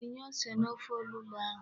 Tinye ose n'ofe onugbu ahụ.